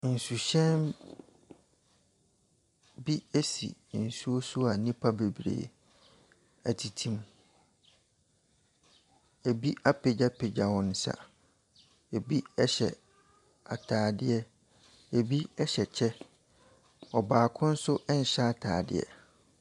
Nsuhyɛn bi si nsuo so a nnipa bebree tete mu. Ebi apagyapagya wɔn nsa, ebi hyɛ atadeɛ, ebi hyɛ kyɛ. Ɔbaako nso nhyɛ atadeɛ.